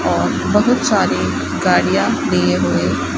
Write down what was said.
बहुत सारे गाड़ियां लिए हुए--